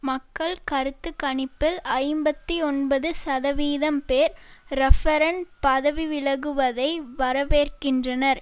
மக்கள் கருத்து கணிப்பில் ஐம்பத்தி ஒன்பது சதவீதம் பேர் ரஃப்பரன் பதவி விலகுவதை வரவேற்கின்றனர்